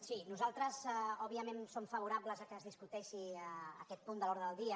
sí nosaltres òbviament som favorables que es discuteixi aquest punt de l’ordre del dia